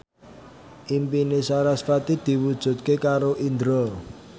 impine sarasvati diwujudke karo Indro